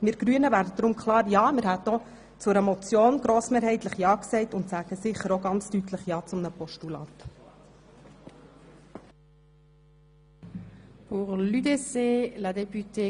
Wir Grünen werden deshalb klar ja sagen, zu einer Motion grossmehrheitlich und zu einem Postulat auch ganz deutlich.